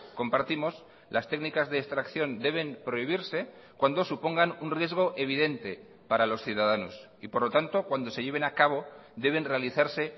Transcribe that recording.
compartimos las técnicas de extracción deben prohibirse cuando supongan un riesgo evidente para los ciudadanos y por lo tanto cuando se lleven a cabo deben realizarse